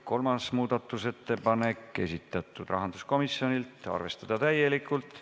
Kolmas muudatusettepanek, esitanud rahanduskomisjon, arvestada täielikult.